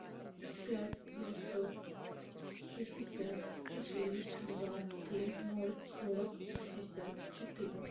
пять девятьсот шестьдесят четыре два семь ноль сорок пятьдесят четыре